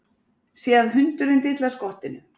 Sé að hundurinn dillar skottinu.